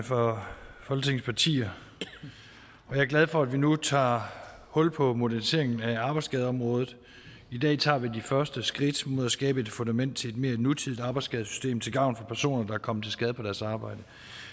fra folketingets partier jeg er glad for at vi nu tager hul på moderniseringen af arbejdsskadeområdet i dag tager vi de første skridt mod at skabe et fundament til et mere nutidigt arbejdsskadesystem til gavn for personer der er kommet til skade på deres arbejde